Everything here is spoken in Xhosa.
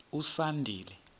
usandile